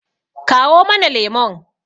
kawo mana lemon!